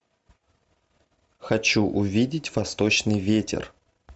хочу увидеть восточный ветер